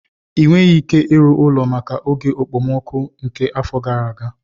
Ị nweghị ike ịrụ ụlọ maka oge okpomọkụ nke afọ gara aga.